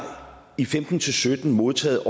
i femten til sytten modtaget